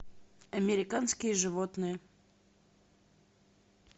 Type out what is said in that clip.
американские животные